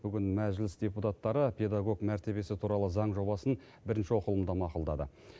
бүгін мәжіліс депутаттары педагог мәртебесі туралы заң жобасын бірінші оқылымда мақұлдады